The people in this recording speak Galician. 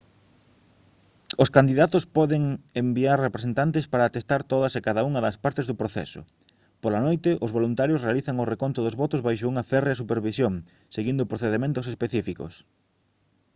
os candidatos poden enviar representantes para atestar todas e cada unha das partes do proceso pola noite os voluntarios realizan o reconto dos votos baixo unha férrea supervisión seguindo procedementos específicos